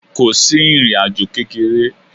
Ko si irín ajò kekere.